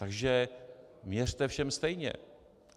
Takže měřte všem stejně.